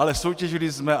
Ale soutěžili jsme.